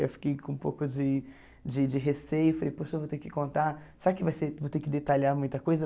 Eu fiquei com um pouco de de de receio, falei, poxa, vou ter que contar, será que vai ser vou ter que detalhar muita coisa?